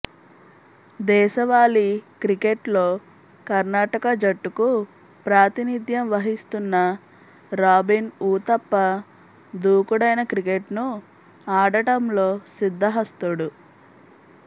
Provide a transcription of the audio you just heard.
దేశవాళీ క్రికెట్లో కర్ణాటక జట్టుకు ప్రాతినిథ్యం వహిస్తున్న రాబిన్ ఊతప్ప దూకుడైన క్రికెట్ను ఆడటంలో సిద్ధహస్తుడు